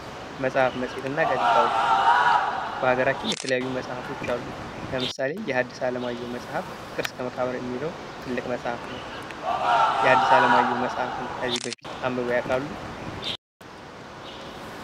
መጽሐፍ መጽሔትና ጋዜጣዎች በሀገራችን የተለያዩ መጽሐፎች አሉ። ለምሳሌ የሀድስ አለማየሁ መጽሐፍ ፍቅር እስከ መቃብር የሚለው ትልቅ መጽሐፍ ነው። የሀድስ አለማየሁ መጽሃፍን ከዚህ በፊት አንብበው ያውቃሉ?